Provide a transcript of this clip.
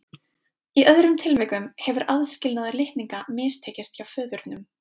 Í öðrum tilvikum hefur aðskilnaður litninga mistekist hjá föðurnum.